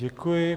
Děkuji.